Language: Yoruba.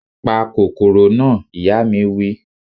Pa kòkòrò na! Ìyá mi wí